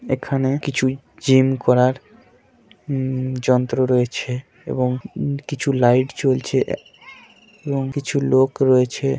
এখানে কিছুই জিম করার উম যন্ত্র রয়েছে এবং উম কিছু লাইট জ্বলছে এবং কিছু লোক রয়েছে।